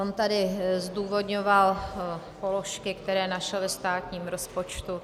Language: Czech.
On tady zdůvodňoval položky, které našel ve státním rozpočtu.